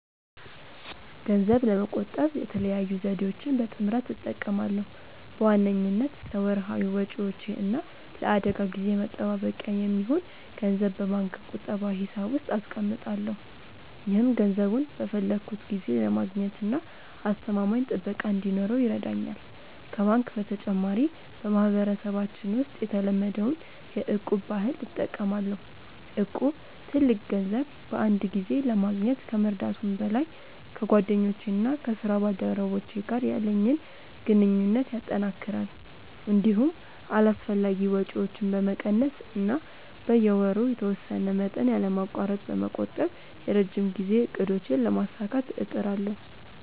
ገንዘብ ለመቆጠብ የተለያዩ ዘዴዎችን በጥምረት እጠቀማለሁ። በዋነኝነት ለወርሃዊ ወጪዎቼ እና ለአደጋ ጊዜ መጠባበቂያ የሚሆን ገንዘብ በባንክ ቁጠባ ሂሳብ ውስጥ አስቀምጣለሁ። ይህም ገንዘቡን በፈለግኩት ጊዜ ለማግኘትና አስተማማኝ ጥበቃ እንዲኖረው ይረዳኛል። ከባንክ በተጨማሪ፣ በማህበረሰባችን ውስጥ የተለመደውን የ'እቁብ' ባህል እጠቀማለሁ። እቁብ ትልቅ ገንዘብ በአንድ ጊዜ ለማግኘት ከመርዳቱም በላይ፣ ከጓደኞቼና ከስራ ባልደረቦቼ ጋር ያለኝን ግንኙነት ያጠናክራል። እንዲሁም አላስፈላጊ ወጪዎችን በመቀነስ እና በየወሩ የተወሰነ መጠን ያለማቋረጥ በመቆጠብ የረጅም ጊዜ እቅዶቼን ለማሳካት እጥራለሁ።